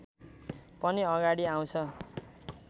पनि अगाडि आउँछ